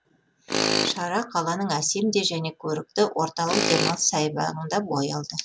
шара қаланың әсем де және көрікті орталық демалыс саябағында бой алды